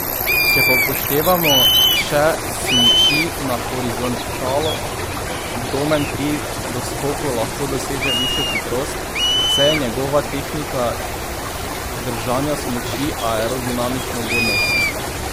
Če pa upoštevamo še smuči na horizontalo, Domen pri doskoku lahko doseže višjo hitrost, saj je njegova tehnika držanja smuči aerodinamično ugodnejša.